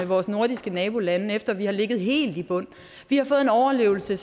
vores nordiske nabolande efter at vi har ligget helt i bund vi har fået en overlevelse